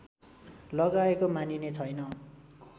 लगाएको मानिने छैन